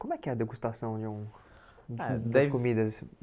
Como é que é a degustação de um eh daí de umas comidas?